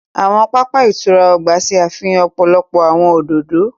Awọn papa ìtura ọgba ṣe àfihàn ọpọlọpọ awọn òdodo.